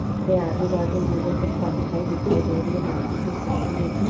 उसके आजू बाजु मुझे कुछ परछाई दिखाई दे रही है हल्की सी खिड़की जैसी |